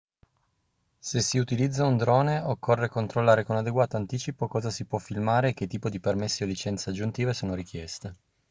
se si utilizza un drone occorre controllare con adeguato anticipo cosa si può filmare e che tipo di permessi o licenze aggiuntive sono richieste